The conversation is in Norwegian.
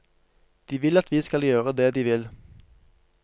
De vil at vi skal gjøre det de vil.